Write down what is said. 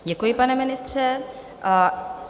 Děkuji, pane ministře.